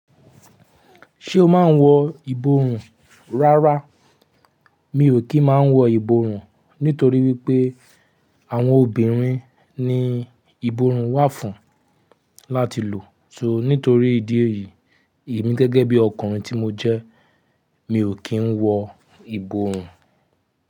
Ṣé o máa ń wọ ìborùn? Rárá mi ò kí ń máa wọ ìborùn, nítorí wípé àwọn obìnrin ni ìborùn wà fún láti lò. So nítorí ìdí èyí, èmi gẹ́gẹ́ bí ọkùnrin tí mo jẹ́, mi ò kí ń wọ ìborùn.